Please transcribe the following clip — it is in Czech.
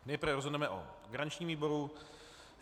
Nejprve rozhodneme o garančním výboru.